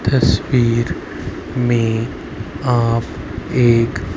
तस्वीर में आप देख--